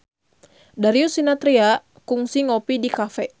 Darius Sinathrya kungsi ngopi di cafe